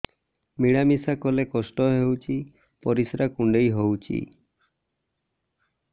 ମିଳା ମିଶା କଲେ କଷ୍ଟ ହେଉଚି ପରିସ୍ରା କୁଣ୍ଡେଇ ହଉଚି